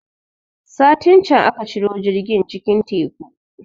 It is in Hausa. Satin can aka ciro jirgin cikin Teku